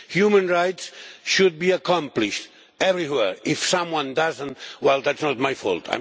Human rights should be accomplished everywhere. If someone does not, well that is not my fault.